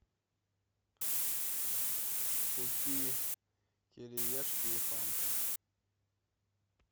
купи кириешки и фанту